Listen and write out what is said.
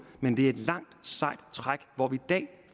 men det er et langt sejt træk hvor vi dag